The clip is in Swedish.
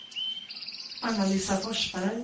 Anna-Lisa Forsberg